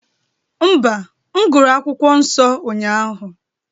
Mba, m gụrụ akwụkwọ nsọ ụnyahụ